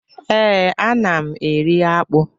Ee, ana m eri akpụ